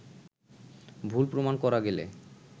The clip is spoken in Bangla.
ভুল প্রমাণ করা গেলে